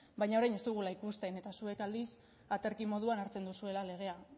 baina orain ez dugu ikusten eta zuek aldiz aterki moduan hartzen duzuela legea